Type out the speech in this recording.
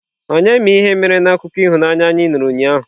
Onye ma ihe mere na akụkọ ịhụnanya anyị nụrụ ụnyaahụ?